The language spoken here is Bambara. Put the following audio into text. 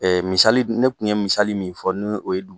misali dun ne kun ye misali min fɔ ni o ye dun